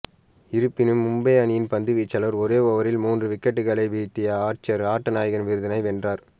இருப்பினும் மும்பை அணியின் பந்துவீச்சாளர் ஒரே ஓவரில் மூன்று விக்கெட்டுக்களை வீழ்த்திய ஆர்ச்சர் ஆட்டநாயகன் விருதினை வென்றார்